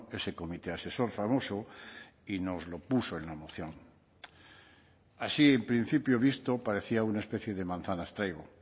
ese comité asesor famoso y nos lo puso en la moción así en principio visto parecía una especie de manzanas traigo